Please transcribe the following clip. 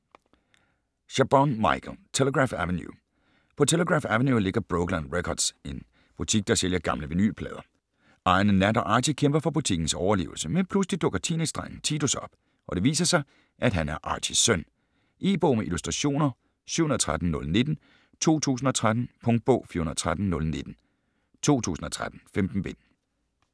Chabon, Michael: Telegraph Avenue På Telegraph Avenue ligger Brokeland Records - en butik, der sælger gamle vinylplader. Ejerne Nat og Archy kæmper for butikkens overlevelse, men pludselig dukker teenagedrengen Titus op, og det viser sig, at han er Archys søn. E-bog med illustrationer 713019 2013. Punktbog 413019 2013. 15 bind.